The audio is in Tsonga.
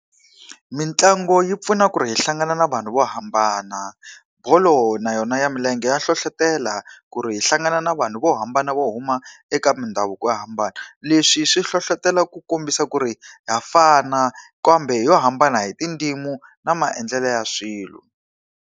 Mitlangu yi pfuna ku ri hi hlangana na vanhu vo hambana. Bolo na yona ya milenge ya hlohletelo ku ri hi hlangana na vanhu vo hambana vo huma eka mindhavuko yo hambana. Leswi swi hlohletelo ku kombisa ku ri ha fana kambe hi lo hambana hi tindzimi na maendlelo ya swilo.